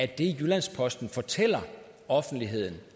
det jyllands posten fortæller offentligheden